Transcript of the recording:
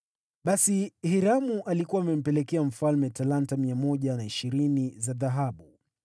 Basi Hiramu alikuwa amempelekea mfalme talanta 120 za dhahabu.